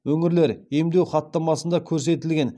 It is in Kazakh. өңірлер емдеу хаттамасында көрсетілген